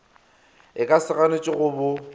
e ka se ganetšwego bo